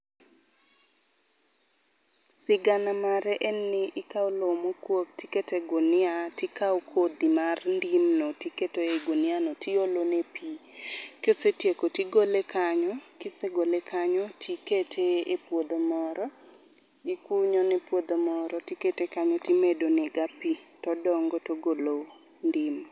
Sigana mare en ni ikawo lowo mokuog tiketo e gunia tikawo kodhi mar ndimno tiketo ei gunia no tiolone pi. Kisetieko tigole kanyo, kisegole kanyo, tikete e puodho moro. Ikunyone puodho moro tikete kanyo timedonega pi ,todongo togolo ndim.